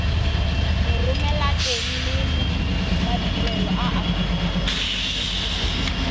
moromelateng le madirelo a aforika